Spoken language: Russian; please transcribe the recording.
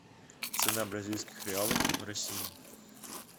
цена бразильских реалов в россии